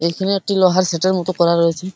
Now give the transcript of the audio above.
এখানে একটি লোহার সেটের মতো করা রয়েছে।